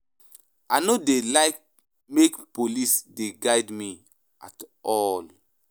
I no dey like make police dey guard me at all.